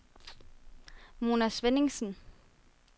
Mona Svenningsen